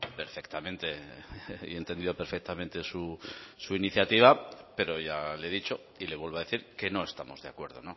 perfectamente y he entendido perfectamente su iniciativa pero ya le he dicho y le vuelvo a decir que no estamos de acuerdo